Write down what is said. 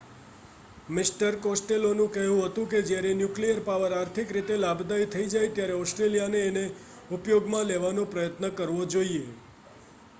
mister કોસ્ટેલોનુ કહેવુ હતુ કે જયારે ન્યુક્લીયર પાવર આર્થિક રીતે લાભદાયી થઇ જાય ત્યારે ઓસ્ટ્રેલિયાને એને ઉપયોગ માં લેવાના પ્રયત્ન કરવા જોઈએ